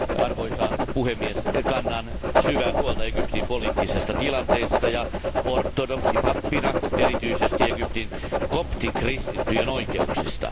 Arvoisa puhemies, kannan syvää huolta Egyptin poliittisesta tilanteesta ja ortodoksipappina erityisesti Egyptin koptikristittyjen oikeuksista.